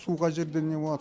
су қай жерде не болады